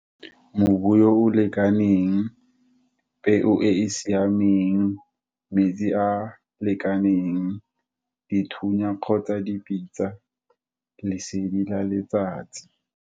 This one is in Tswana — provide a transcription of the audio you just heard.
Mobulo o o lekaneng, peo e e siameng, metsi a lekaneng, dithunya, kgotsa dipitsa lesedi la letsatsi.